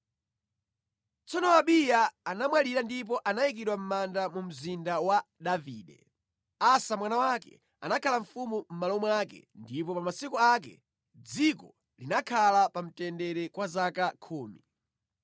Tsono Abiya anamwalira ndipo anayikidwa mʼmanda mu mzinda wa Davide. Asa mwana wake anakhala mfumu mʼmalo mwake ndipo pa masiku ake, dziko linakhala pa mtendere kwa zaka khumi.